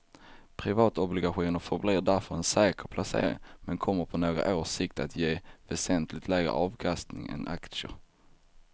Privatobligationer förblir därför en säker placering men kommer på några års sikt att ge väsentligt lägre avkastning än aktier.